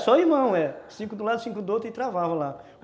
É, só irmão, é. Cinco do lado, cinco do outro e travava lá.